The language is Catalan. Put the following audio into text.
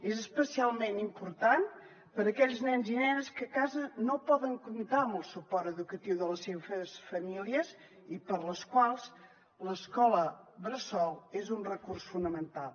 és especialment important per a aquells nens i nenes que a casa no poden comptar amb el suport educatiu de les seves famílies i per a les quals l’escola bressol és un recurs fonamental